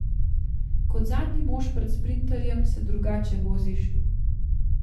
Kot zadnji mož pred sprinterjem se drugače voziš.